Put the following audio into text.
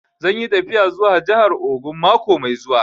Zan yi tafiya zuwa jahar Ogun mako mai zuwa